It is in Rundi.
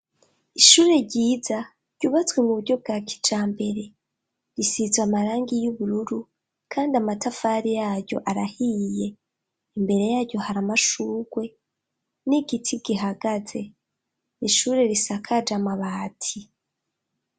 Ishure ryiza, ryubatswe mu buryo bwa kijambere. Risize amarangi y'ubururu, kandi amatafari yaryo arahiye. Imbere yaryo hari amashurwe, n'igiti gihagaze. Ni ishure risakaje amabati.